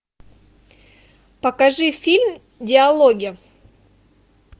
покажи фильм диалоги